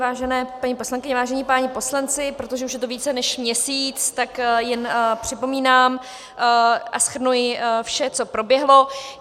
Vážené paní poslankyně, vážení páni poslanci, protože už je to více než měsíc, tak jen připomínám a shrnuji vše, co proběhlo.